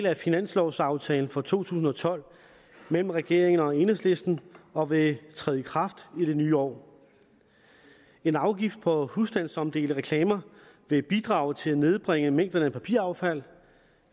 af finanslovaftalen fra to tusind og tolv mellem regeringen og enhedslisten og vil træde i kraft i det nye år en afgift på husstandsomdelte reklamer vil bidrage til at nedbringe mængderne af papiraffald